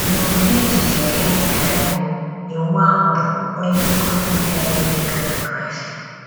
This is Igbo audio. N'ụdị echiche gịnị ka Iwu Iwu ahụ bụ ‘ onye nkuzi nke na-eduga na Kraịst?